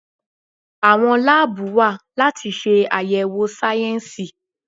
Àwọn láàbù wa láti ṣe àyẹ̀wò sáyẹnsì.